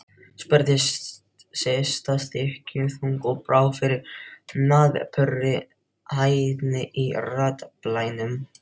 spurði Systa þykkjuþung og brá fyrir napurri hæðni í raddblænum.